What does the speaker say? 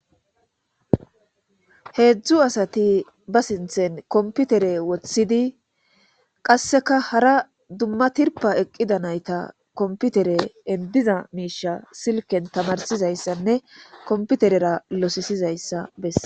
Heedzdzu asati ba sinthen komputere woththidi qasseka hara dumma tirpa eqqida nayta komputere endiza miisha silken tamarsizayssanne komputerera losisizayssa besse.